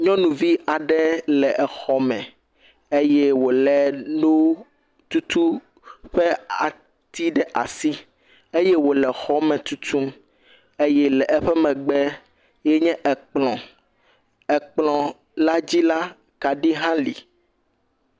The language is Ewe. Nyɔnuvi aɖe le exɔme eye wòlé nututu ƒe ati ɖe asi eye wòle xɔme tutum. Eye le eƒe megbee nye ekplɔ̃. Ekplɔ̃la dzi la kaɖi hã li.